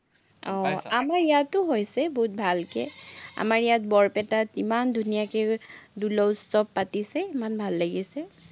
ইয়াতো হৈছে বহুত ভালকে। আমাৰ ইয়াত বৰপেটাত ইমান ধুনীয়াকে দুলৌ উত্সৱ পাতিছে, ইমান ভাল লাগিছে।